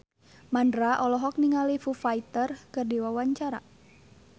Mandra olohok ningali Foo Fighter keur diwawancara